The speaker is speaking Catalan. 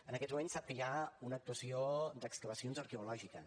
en aquests moments sap que hi ha una actuació d’excavacions arqueològiques